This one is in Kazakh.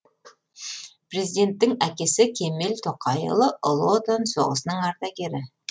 президенттің әкесі кемел тоқайұлы ұлы отан соғысының ардагері